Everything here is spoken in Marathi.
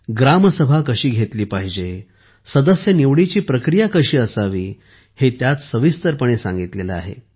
ग्रामसभा कशी घेतली पाहिजे आणि सदस्य निवडीची प्रक्रिया कशी असावी हे त्यात सविस्तरपणे सांगितले आहे